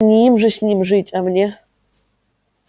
не им же с ним жить а мне